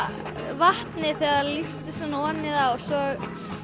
vatnið þegar það lýstist svona ofan í það og svo